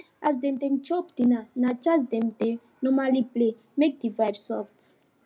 as dem dey chop dinner na jazz dem dey normally play make the vibe soft